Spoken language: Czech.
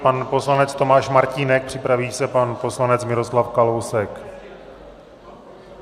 Pan poslanec Tomáš Martínek, připraví se pan poslanec Miroslav Kalousek.